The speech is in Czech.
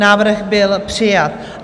Návrh byl přijat.